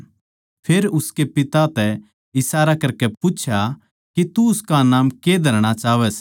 फेर उसकै पिता तै इशारा करकै पूच्छया कै तू उसका नाम कै धरणा चाहवै सै